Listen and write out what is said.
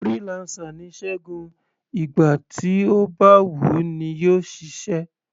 Freelancer ni Ṣẹgun, ìgbà tí ó bá wù u ní yóò ṣiṣẹ́.